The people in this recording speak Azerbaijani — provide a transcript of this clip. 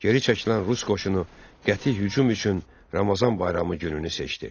Geri çəkilən rus qoşunu qəti hücum üçün Ramazan bayramı gününü seçdi.